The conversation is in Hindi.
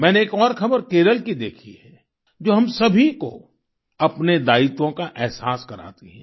मैंने एक और खबर केरल की देखी है जो हम सभी को अपने दायित्वों का एहसास कराती है